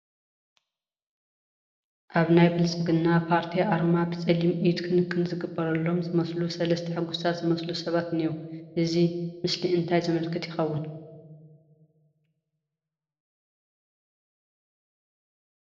ኣብ ናይ ብልፅግና ፖርቲ ኣርማ ብፀሊም ኢድ ክንክን ዝግበረሎም ዝመስሉ ሰለስተ ሕጉሳት ዝመስሉ ሰባት እኔዎ፡፡ እዚ ምስሊ እንታይ ዘመልክት ይኸውን?